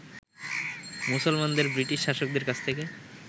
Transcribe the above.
মুসলমানদের ব্রিটিশ শাসকদের কাছ থেকে